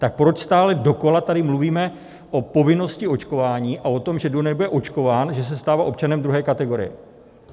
Tak proč stále dokola tady mluvíme o povinnosti očkování a o tom, že kdo nebude očkován, že se stává občanem druhé kategorie?